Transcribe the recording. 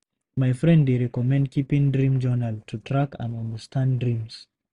My friend dey recommend keeping dream journal to track and understand dreams.